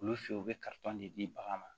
Olu fɛ yen u bɛ de di bagan ma